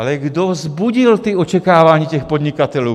Ale kdo vzbudil ta očekávání těch podnikatelů?